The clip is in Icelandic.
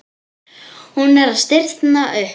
Hún er að stirðna upp.